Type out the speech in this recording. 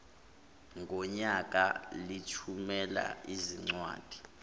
ngonyaka lithumela izincwadi